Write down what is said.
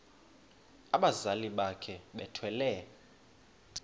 abazali bakhe bethwele